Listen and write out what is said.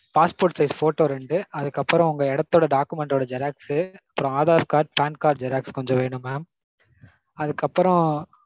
passport size photo ரெண்டு, அதுக்கப்பறம் உங்க இடத்தோட document டோட xerox, அப்பறம் aadhar card PAN card xerox கொஞ்சம் வேணும் mam அதுக்கு அப்புறம்